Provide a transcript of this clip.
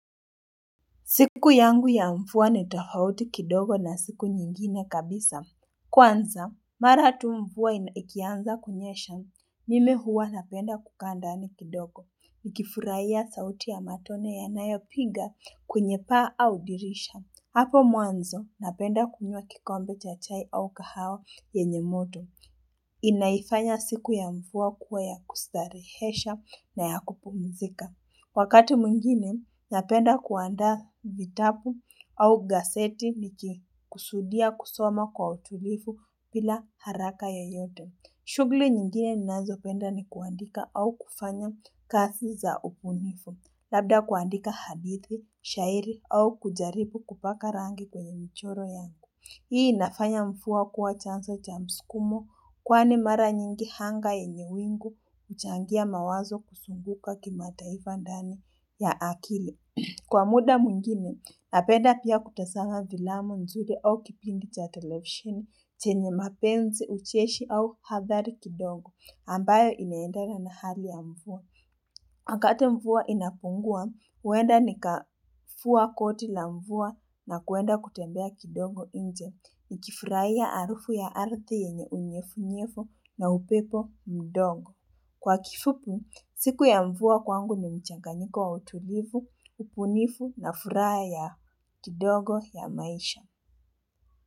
Siku yangu ya mvua ni tofauti kidogo na siku nyingine kabisa. Kwanza, maratu mvua ikianza kunyesha. Mimi huwa napenda kukaa ndani kidogo. Ukifurahia sauti ya matone ya nayo piga kwenye paa au dirisha. Hapo mwanzo napenda kunywa kikombe cha chai au kahawa yenye moto. Inaifanya siku ya mvua kuwa ya kustarehesha na ya kupumzika. Wakati mwingine, napenda kuanda vitabu au gazeti niki kusudia kusoma kwa utulivu bila haraka yoyote. Shughuli nyingine ninazo penda ni kuandika au kufanya kazi za ubunifu. Labda kuandika hadithi, shairi au kujaribu kupaka rangi kwenye michoro yangu. Hii inafanya mvua kuwa chanzo cha msukumo kwani mara nyingi anga yenye wingu huchangia mawazo kuzunguka kima taifa ndani ya akili. Kwa muda mwingine, napenda pia kutazama filamu nzuri au kipindi cha televisheni chenye mapenzi ucheshi au hathari kidogo ambayo inaendana nhali ya mvua. Wakati mvua inapungua, uenda ni kavua koti la mvua na kuenda kutembea kidogo nje ni kifurahia harufu ya ardhi yenye unyevunyevu na upepo mdogo. Kwa kifupi, siku ya mvua kwangu ni mchanganyiko wa utulivu, ubunifu na furaha kidogo ya maisha.